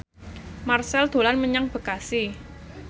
Marchell dolan menyang Bekasi